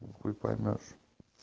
хуй поймёшь